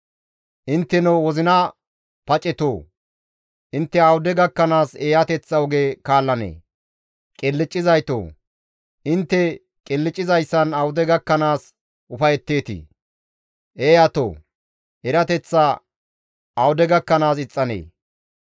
«Intteno wozina pacetoo! Intte awude gakkanaas eeyateththa oge kaallanee? Qilccizaytoo! Intte qilccizayssan awude gakkanaas ufayetteetii? Eeyatoo! Erateththa awude gakkanaas ixxanee?